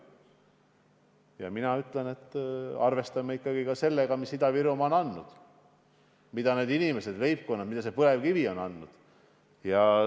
Ja mina ütlen, et arvestame ikkagi sellega, mida Ida-Virumaa on andnud, mida need inimesed, leibkonnad ja põlevkivi on andnud.